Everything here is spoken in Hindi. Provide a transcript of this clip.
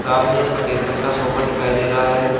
सामने एक सफेद रंग का सोफा दिखाई दे रहा है।